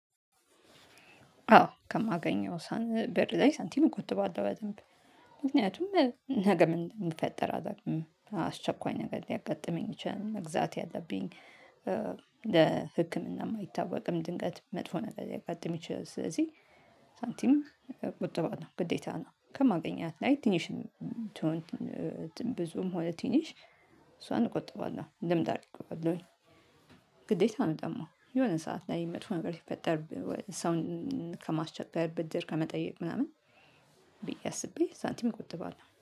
አዎ ከማገኘው ሳን ብር ላይ ሳንቲም እቆጥባለው በደንብ። ምክንያቱም ነገ ምን የሚፈጠር አላውቅም አስቸኳይ ነገር ሊያጋጥመኝ ይችላል መግዛት ያለብኝ። ለህክምና የማይታወቅም ድንገት መጥፎ ነገር ሊያጋጥም ይችላል ስለዚህ። ሳንቲም ቆጥባለው ግዴታ ነው። ከማገኛት ላይ ትንሽ ትሁን። ብዙም ሆነ ትንሽ እሷን ቆጥባለሁ እንደምታውቁባቸው። ግዴታ ነው ጠማው የሆነ ሰዓት ላይ መጥፎ ነገር ሲፈጠር። ሰውን ከማስቸገር ብድር ከመጠየቅ ምናምን። ብዬ አስቤ ሳንቲም ቆጥባለሁ